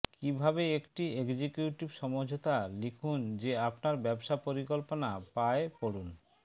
কিভাবে একটি এক্সিকিউটিভ সমঝোতা লিখুন যে আপনার ব্যবসা পরিকল্পনা পায় পড়ুন